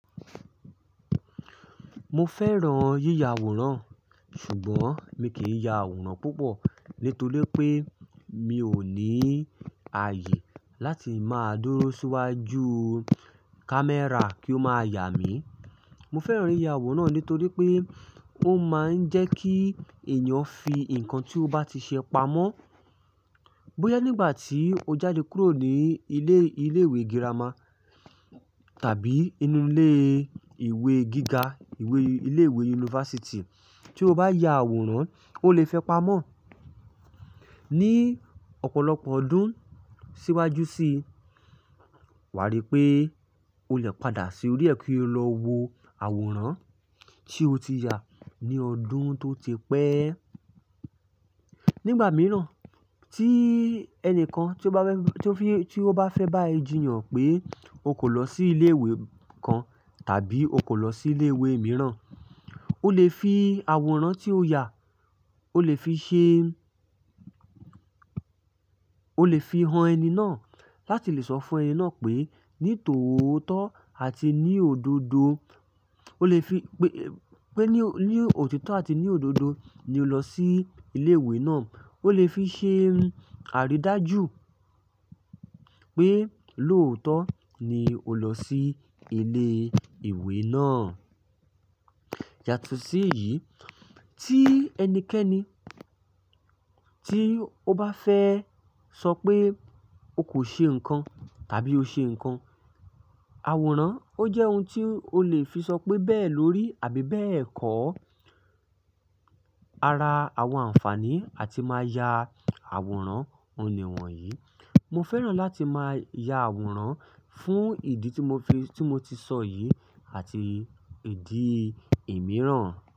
Mo fẹ́ràn yíya àwòrán ṣùgbọ́n mi kì í ya àwòrán púpọ̀ nítorí pé mi ò ní ààyè láti máa dúró síwájú camera kí ó máa yà mí. Mo fẹ́ràn yíya àwòrán nítorí pé ó máa ń jẹ́ kí ènìyàn fi nǹkan tí ó bá ti ṣe pamọ́. Bóyá nígbà tí o jáde kúrò ní ilé, ilé ìwé girama tàbí inú ilé ìwé gíga, ìwé ilé ìwé yunifásítì tí o bá ya àwòrán, o lè fi pamọ́. Ni ọ̀pọ̀lọpọ̀ ọdún síwájú sí i, wàrí pé o lè padà sí orí ẹ kí o lọ wo àwòrán tí o ti ya ní ọdún tó ti pẹ́. Nígbà mìíràn tí ẹnìkan tí ó bá fẹ́, tí ó fẹ́ bá ẹ jiyàn pé o kò lọ sí ilé ìwé kan tàbí o kò lọ sí ilé ìwé mìíràn, o lè fi àwòrán tí o yà, o lè fi ṣe, o lè fi han ẹni náà láti lè sọ fún ẹni náà pé ní tòótọ́ àti ní òdodo, o lè fi pé, pé ní òtítọ́ àti ní òdodo ni o lọ sí ilé ìwé náà. O lè fi ṣe àrídájú pé lóòótọ́ ni o lọ sí ilé ìwé náà. Yàtọ̀ sí èyí tí ẹnikẹ́ni tí ó bá fẹ́ sọ pé o kò ṣe nǹkan tàbí o ṣe nǹkan, àwòrán ó jẹ́ ohun tí o lè fi sọ pé bẹ́ẹ̀ lórí àbí bẹ́ẹ̀ kọ́. Ara àwọn àǹfààní àti máa ya àwòrán oun ní wọ̀nyí, mo fẹ́ràn láti máa ya àwòrán fún ìdí tí mo, tí mo ti sọ yìí àti ìdí imìíràn.